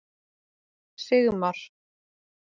Sigmar